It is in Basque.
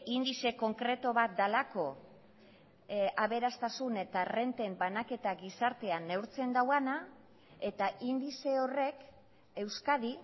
indize konkretu bat delako aberastasun eta errenten banaketa gizartean neurtzen duena eta indize horrek euskadi